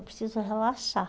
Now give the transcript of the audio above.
Eu preciso relaxar.